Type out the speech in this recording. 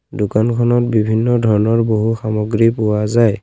দোকানখন বিভিন্ন ধৰণৰ বহু সামগ্ৰী পোৱা যায়।